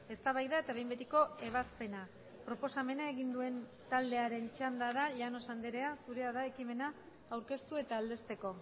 eztabaida eta behin betiko ebazpena proposamena egin duen taldearen txanda da llanos andrea zurea da ekimena aurkeztu eta aldezteko